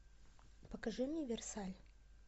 покажи мне версаль